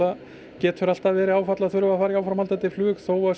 getur verið áfall að þurfa að að fara í áframhaldandi flug þó að